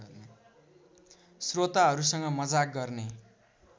स्रोताहरूसँग मजाक गर्ने